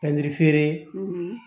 Tangiri feere